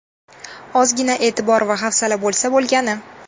Ozgina e’tibor va hafsala bo‘lsa bo‘lgani.